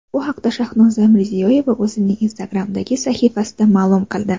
Bu haqda Shahnoza Mirziyoyeva o‘zining Instagram’dagi sahifasida ma’lum qildi.